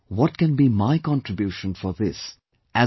What can be my contribution for this as an individual